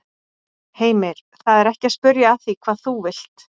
Heimir: Það er ekki að spyrja að því hvað þú vilt?